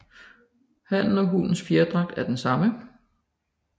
Hannens og hunnens fjerdragt er den samme